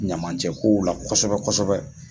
Ɲamacɛ kow la kosɛbɛ kosɛbɛ